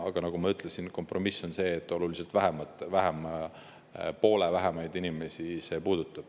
Aga nagu ma ütlesin, kompromiss on see, et muudatus puudutab oluliselt vähemaid, poole vähemaid inimesi.